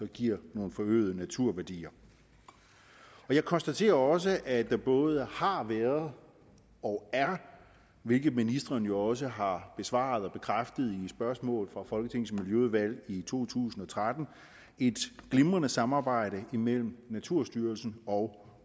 giver nogle forøgede naturværdier jeg konstaterer også at der både har været og er hvilket ministeren jo også har svaret bekræftende spørgsmål fra folketingets miljøudvalg i to tusind og tretten et glimrende samarbejde mellem naturstyrelsen og